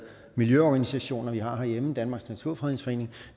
miljøorganisationer vi har herhjemme nemlig danmarks naturfredningsforening